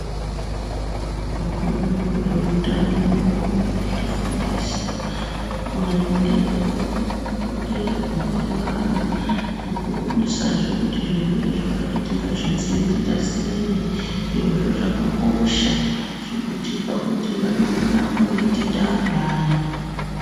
Vanoona nezvehutano vanoramba veitifundisa maringe nekurerwa kwevana nekuonesa zve kuti zvirwere zvakati tingazvidzivirira sei zvirozvo zvakakosha zvinotipa kuti vanoramba veitida vantu ava.